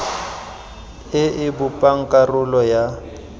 e e bopang karolo ya